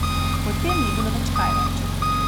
Po tem ni bilo več kaj reči.